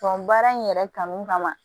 baara in yɛrɛ kanu kama